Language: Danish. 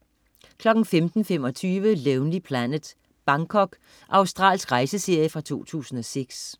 15.25 Lonely Planet: Bangkok. Australsk rejseserie fra 2006